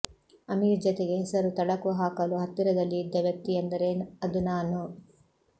ಅಮೀರ್ ಜತೆಗೆ ಹೆಸರು ತಳಕು ಹಾಕಲು ಹತ್ತಿರದಲ್ಲಿ ಇದ್ದ ವ್ಯಕ್ತಿಯೆಂದರೆ ಅದು ನಾನು